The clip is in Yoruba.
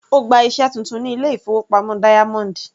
Ó gba iṣẹ́ titun ní ilé-ìfowópamọ́ Diamond.